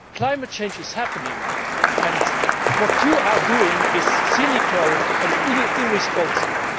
Climate change is happening and what you are doing is cynical and irresponsible.